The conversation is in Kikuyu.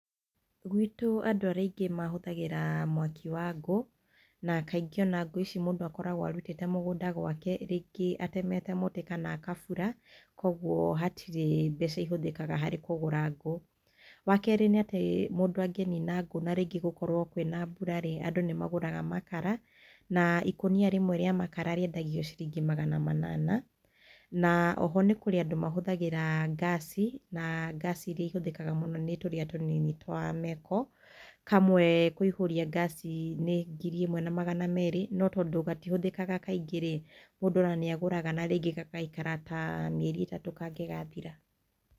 Gũitũ andũ arĩa aingĩ mahũthagĩra mwaki wa ngũũ, na kaingĩ ona ngũũ ici mũndũ akoragwo arutĩte mũgũnda gwake rĩngĩ atemete mũtĩ kana agabũra. Kwoguo hatirĩ mbeca ihũthĩkaga harĩ kũgũra ngũũ. Wakerĩ nĩ atĩ mũndũ angĩnina ngũũ na rĩngĩ gũkorwo kwĩna mbũra, andũ nĩ magũraga makara. Na ikũnia rĩmwe rĩa makara rĩendagio ciringi magana manana, na oho nĩ kũrĩ andũ mahũthagĩra, gas, na cs] gas iria itũmĩkaga mũno nĩ tũrĩa tũnini twa meko. Kamwe kũihũria cs] gas nĩ ngiri ĩmwe na magana merĩ, no tondũ gatihũthĩkaga kaingĩ rĩ. Mũndũ ona nĩ agũraga gagaikara ta mĩeri ĩtatũ kangĩgathira.